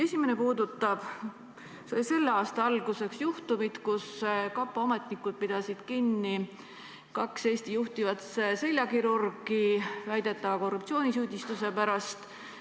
Esimene puudutab selle aasta alguses juhtunut, kui kapo ametnikud pidasid kinni kaks Eesti juhtivat seljakirurgi väidetava korruptsioonisüüdistuse pärast.